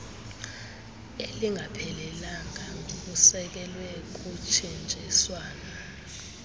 elingaphelelanga ngokusekelwe kutshintshiswano